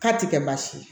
K'a ti kɛ baasi ye